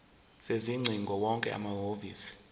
sezingcingo wonke amahhovisi